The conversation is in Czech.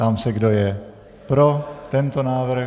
Ptám se, kdo je pro tento návrh.